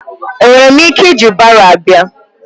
Enwere m ike iji baro bịa?